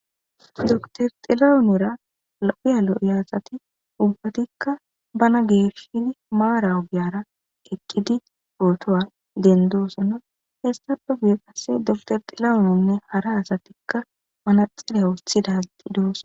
dotor xilawunora uyalo iyasati ubbatikka bana geeshshini maara ubiyara eqqidi ootowa dendoosono hessadu biyo qasse dotor xilawunonne hara asatikka manaxiley wuothidazi dooso